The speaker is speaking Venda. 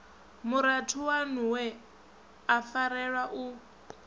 murathu waṋuwe a farelwa u